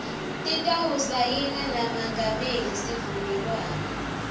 titawusayina namengameli sivumelwano